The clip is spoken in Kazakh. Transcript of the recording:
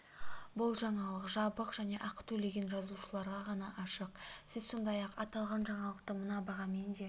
бұл жаңалық жабық және ақы төлеген жазылушыларға ғана ашық сіз сондай-ақ аталған жаңалықты мына бағамен де